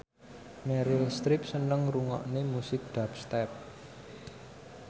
Meryl Streep seneng ngrungokne musik dubstep